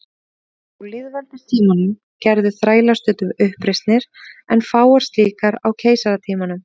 Á lýðveldistímanum gerðu þrælar stundum uppreisnir en fáar slíkar á keisaratímanum.